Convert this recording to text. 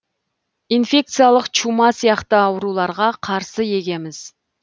инфекциялық чума сияқты ауруларға қарсы егеміз